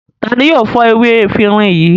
Ta ni yóò fọ ewé efirin yìí?